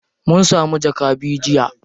Mun samu jaka biyu jiya.